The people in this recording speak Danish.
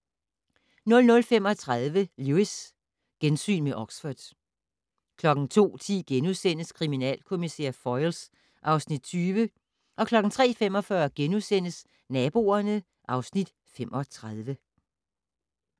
00:35: Lewis: Gensyn med Oxford 02:10: Kriminalkommissær Foyle (Afs. 20)* 03:45: Naboerne (Afs. 35)*